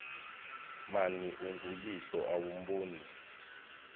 mani unguyihlo awumboni